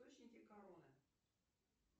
источники короны